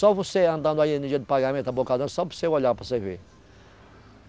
Só você andando aí no dia do pagamento, abocadão, só para você olhar, para você ver.